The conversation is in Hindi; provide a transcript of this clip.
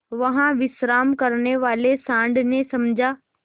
वहाँ विश्राम करने वाले सॉँड़ ने समझा